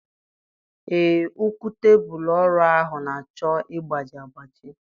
Ee, ụkwụ tebụlụ ọrụ ahụ na-achọ ịgbaji agbaji.